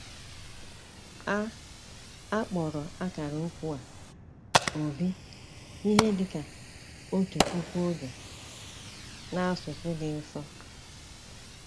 A A kpọrọ ákàrà ókwú a "obi" Ihe dịka otu puku oge n'asụsụ dị nsọ.